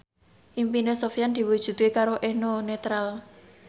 impine Sofyan diwujudke karo Eno Netral